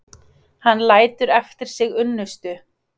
Hann lætur eftir sig unnustu.